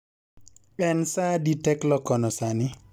en saa adi teklo kono sani